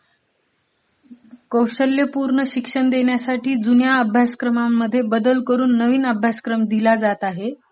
कौशल्यपूर्ण शिक्षण देण्यासाठी जुन्या अभ्यासक्रमांमध्ये बदल करून नवीन अभ्यासक्रम दिला जात आहे.